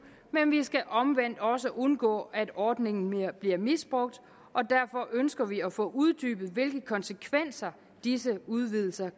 men vi skal omvendt også undgå at ordningen bliver misbrugt og derfor ønsker vi at få uddybet hvilke konsekvenser disse udvidelser